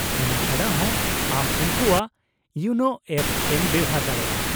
-ᱚᱱᱟ ᱪᱷᱟᱰᱟᱦᱚ, ᱟᱢ ᱩᱱᱠᱩᱣᱟᱜ ᱤᱭᱳᱱᱳ ᱮᱯ ᱮᱢ ᱵᱮᱣᱦᱟᱨ ᱫᱟᱲᱮᱭᱟᱜᱼᱟ ᱾